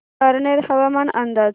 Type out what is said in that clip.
पारनेर हवामान अंदाज